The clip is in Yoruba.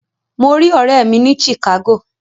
Mo rí ọ̀rẹ́ mi ní Chicago.